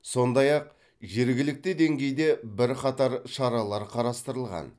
сондай ақ жергілікті деңгейде бірқатар шаралар қарастырылған